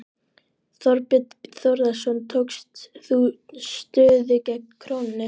Þorbjörn Þórðarson: Tókst þú stöðu gegn krónunni?